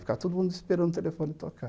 Ficava todo mundo esperando o telefone tocar.